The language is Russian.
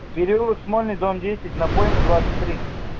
переулок смольный дом десять напойма двадцать три